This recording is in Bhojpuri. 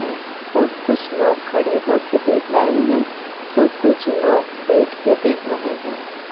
और कुछ लोग खड़े हो कर देख रहे हैं तो कुछ लोग बैठ कर देख रहे हैं।